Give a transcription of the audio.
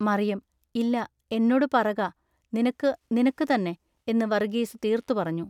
മറിയം. ഇല്ല എന്നൊടു പറക" നിനക്കു നിനക്കു തന്നെ" എന്നു വറുഗീസു തീർത്തു പറഞ്ഞു.